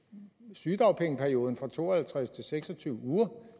sygedagpengeperioden fra to og halvtreds og seks og tyve uger